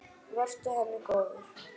Vertu henni góður.